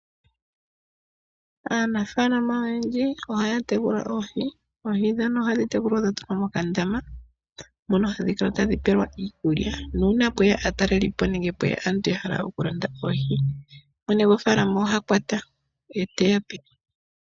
Aanafalama oyendji ohaya tekula oohi. Oohi dhono ohadhi tekulwa dha tulwa mokandama. Mono hadhi kala tadhi pelwa iikulya. Nuuna pweya aatalelipo nenge aantu ya hala okulanda oohi mwene gofaalama oha kwata ye teyape.